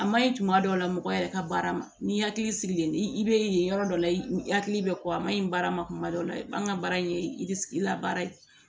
A ma ɲi tuma dɔw la mɔgɔ yɛrɛ ka baara ma n'i hakili sigilen i bɛ yen yɔrɔ dɔ la i hakili bɛ kɔ a ma ɲi baara ma kuma dɔ la an ka baara in ye labaara ye